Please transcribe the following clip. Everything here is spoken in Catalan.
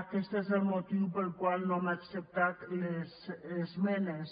aquest és el motiu pel qual no hem acceptat les esmenes